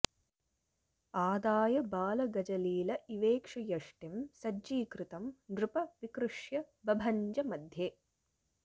आदाय बालगजलील इवेक्षुयष्टिं सज्जीकृतं नृप विकृष्य बभञ्ज मध्ये